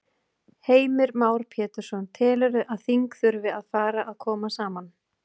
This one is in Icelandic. Heimir Már Pétursson: Telurðu að þing þurfi að fara að koma saman?